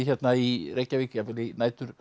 hérna í Reykjavík jafnvel í